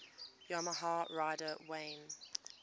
yamaha rider wayne